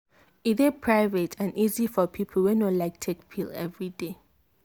e dey private and easy for people wey no like take pill every day.